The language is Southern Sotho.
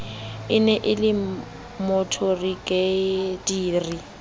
e ne e le moborigadiri